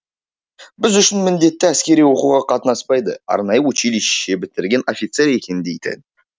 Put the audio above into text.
біз үшін міндетті әскери оқуға қатынаспайды арнайы училище бітірген офицер екен дейтін